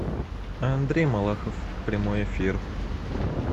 андрей малахов прямой эфир